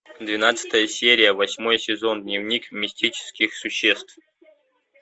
двенадцатая серия восьмой сезон дневник мистических существ